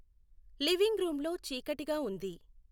living రూంలో చీకటిగా ఉంది